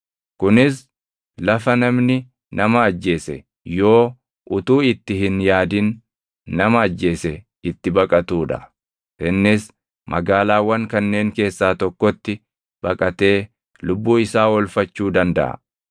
kunis lafa namni nama ajjeese yoo utuu itti hin yaadin nama ajjeese itti baqatuu dha. Innis magaalaawwan kanneen keessaa tokkotti baqatee lubbuu isaa oolfachuu dandaʼa.